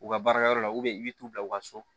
U ka baarakɛyɔrɔ la i bɛ t'u bila u ka so